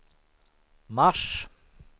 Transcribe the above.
mars